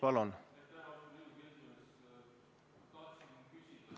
Palun!